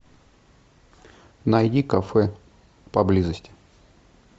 найди кафе поблизости